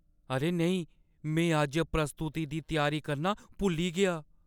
अरे नेईं! में अज्ज प्रस्तुति दी त्यारी करना भुल्ली गेआ ।